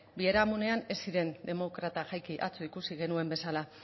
biharamunean ez ziren demokrata jaiki atzo ikusi genuen bezala